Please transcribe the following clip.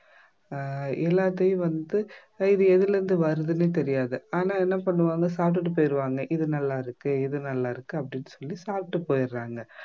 ஆஹ் எல்லாத்தையும் வந்து இது எதுல இருந்து வருதுன்னே தெரியாது ஆனா என்ன பண்ணுவாங்க சாப்பிட்டுட்டு போயிடுவாங்க இது நல்லாருக்கு இது நல்லாருக்கு அப்படின்னு சொல்லி சாப்பிட்டு போயிறாங்க